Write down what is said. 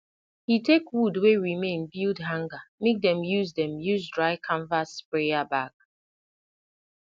he take wood wey remain build hanger make dem use dem use dry canvas sprayer bag